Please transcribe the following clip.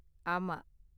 ஆமா.